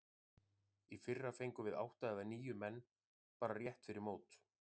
Í fyrra fengum við átta eða níu menn bara rétt fyrir mót.